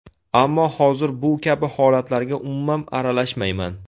Ammo hozir bu kabi holatlarga umuman aralashmayman.